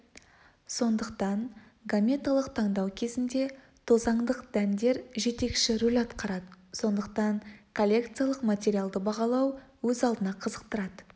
сондықтан гаметалық таңдау кезінде тозаңдық дәндер жетекші рөл атқарады сондықтан коллекциялық материалды бағалау өз алдына қызықтырады